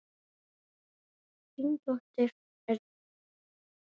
Þín dóttir, Edda.